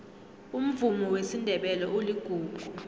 umvumo wesindebele uligugu